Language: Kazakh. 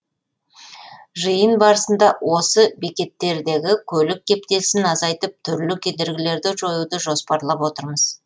жиын барысында осы бекеттердегі көлік кептелісін азайтып түрлі кедергілерді жоюды жоспарлап отырмыз